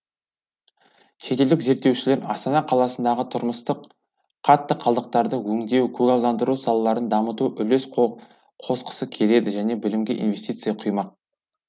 шетелдік зерттеушілер астана қаласындағы тұрмыстық қатты қалдықтарды өңдеу көгалдандыру салаларын дамытуға үлес қосқысы келеді және білімге инвестиция құймақ